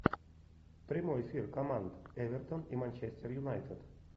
прямой эфир команд эвертон и манчестер юнайтед